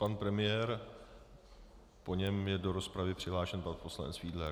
Pan premiér, po něm je do rozpravy přihlášen pan poslanec Fiedler.